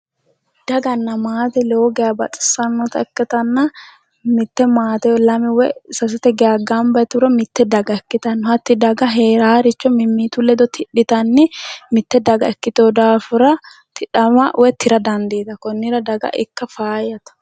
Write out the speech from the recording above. daganna maate lowo geha baxissannota ikkitanna mitte woyi lame sasete geha gamba yituro mitte daga ikkitanno hatti daga heeraaricho mimmitu ledo tidhite mitte daga ikkiteho daafira tidhama woyi tira dandiitaho konnira daga ikka faayyate